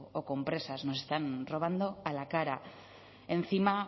o compresas nos están robando a la cara encima